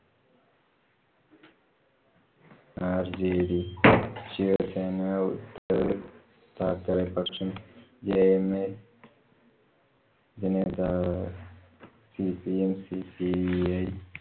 rjd Shiv Sena, Uddhav Thackeray first ഉം jma നേതാവ് cpmcpi